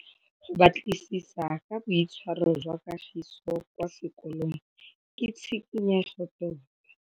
Go batlisisa ka boitshwaro jwa Kagiso kwa sekolong ke tshikinyêgô tota.